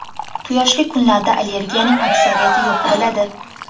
Quyoshli kunlarda allergiyaning aksariyati yo‘q bo‘ladi.